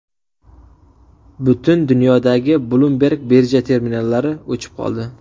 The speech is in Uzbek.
Butun dunyodagi Bloomberg birja terminallari o‘chib qoldi.